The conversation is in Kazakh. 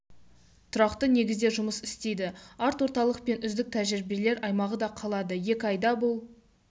тұрақты негізде жұмыс істейді арт орталық пен үздік тәжірибелер аймағы да қалады екі айда бұл